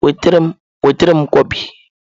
Nwetara m Nkwobi!